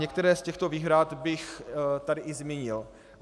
některé z těchto výhrad bych tady i zmínil.